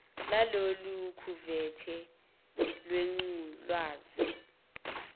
lalolu khuvethe lwengculazi